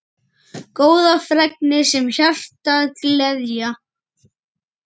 Góðar fregnir sem hjartað gleðja.